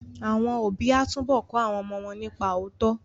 Àwọn òbí á túbọ̀ kọ́ àwọn ọmọ wọn nípa òótọ́